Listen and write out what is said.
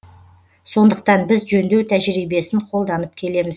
сондықтан біз жөндеу тәжірибесін қолданып келеміз